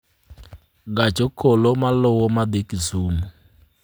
gach okolomaluwo madhi Kisumu